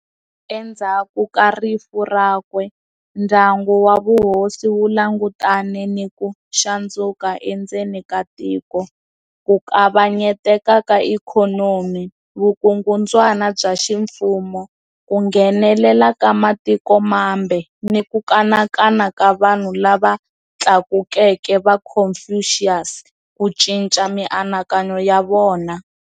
Endzhaku ka rifu rakwe, ndyangu wa vuhosi wu langutane ni ku xandzuka endzeni ka tiko, ku kavanyeteka ka ikhonomi, vukungundzwana bya ximfumo, ku nghenelela ka matiko mambe ni ku kanakana ka vanhu lava tlakukeke va Confucius ku cinca mianakanyo ya vona.